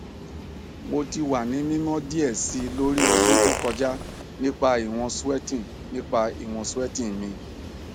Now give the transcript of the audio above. mo ti wa ni mimọ diẹ sii lori ọdun to kọja nipa iwọn sweating nipa iwọn sweating mi